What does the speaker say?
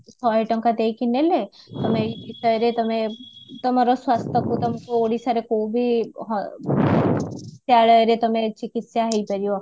ଶହେ ଟଙ୍କା ଦେଇକି ନେଲେ ତମେ ଏଇ ବିଷୟରେ ତମେ ତମର ସ୍ଵାସ୍ଥକୁ ତମକୁ ଓଡିଶାରେକୋଉ ବି ରେ ତମେ ଚିକିତ୍ସା ହେଇପାରିବ